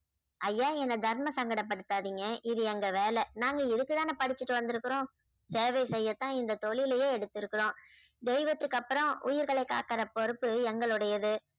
ஐயா என்னை தர்ம சங்கட படுத்தாதீங்க இது எங்க வேலை நாங்க இதுக்குத்தானே படிச்சுட்டு வந்திருக்கிறோம் சேவை செய்யத்தான் இந்த தொழிலையே எடுத்துருக்குறோம் தெய்வத்துக்கு அப்புறம் உயிர்களை காக்குற பொறுப்பு எங்களுடையது